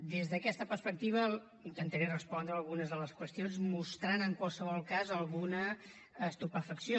des d’aquesta perspectiva intentaré respondre a algunes de les qüestions i mostraré en qualsevol cas alguna estupefacció